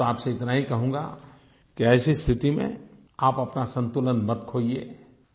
मैं तो आप से इतना ही कहूँगा कि ऐसी स्थिति में आप अपना संतुलन मत खोइए